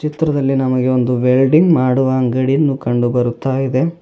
ಚಿತ್ರದಲ್ಲಿ ನಮಗೆ ಒಂದು ವೆಲ್ಡಿಂಗ್ ಮಾಡುವ ಅಂಗಡಿಯನ್ನು ಕಂಡು ಬರುತ್ತಾ ಇದೆ.